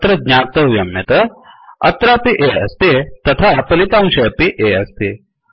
अत्र ज्ञातव्यं यत् अत्रापि A अस्ति तथा फलितांशे अपि A अस्ति